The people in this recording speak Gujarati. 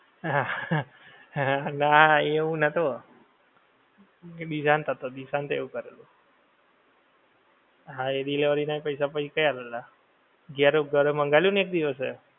નાં એ હું નતો. એ દીશાંત હતો, દીશાંતે એવું કરેલું. હા એ delivery નાં પૈસા પછી કઈ આલેલા. ઘેરે ઘરે મંગાવેલું ને એક દિવસે.